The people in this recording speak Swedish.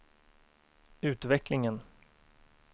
utvecklingen